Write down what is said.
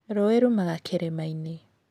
Rũũĩ rumaga kĩrĩma-inĩ.